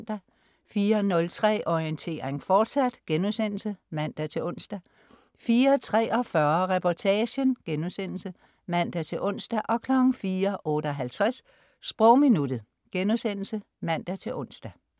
04.03 Orientering, fortsat* (man-ons) 04.43 Reportagen* (man-ons) 04.58 Sprogminuttet* (man-ons)